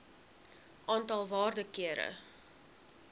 aantal waarde kere